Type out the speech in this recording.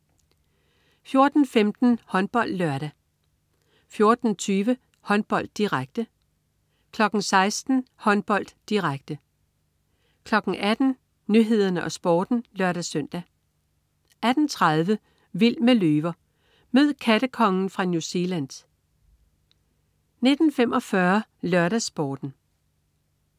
14.15 HåndboldLørdag 14.20 Håndbold, direkte 16.00 Håndbold, direkte 18.00 Nyhederne og Sporten (lør-søn) 18.30 Vild med løver. Mød "kattekongen" fra New Zealand 19.45 LørdagsSporten